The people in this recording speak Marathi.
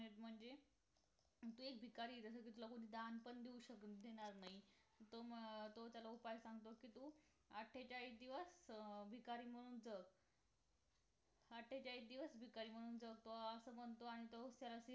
म्हणजे तू एक भिकारी जस कि तुला कोणी दान पण देऊ शक देणार नाही तो अं तो त्याला उपाय सांगतो कि तू आठेचाळीस दिवस अं भिकारी म्हणून जग आठेचाळीस दिवस भिकारी म्हणून जग असं म्हणतो आणि तो त्याला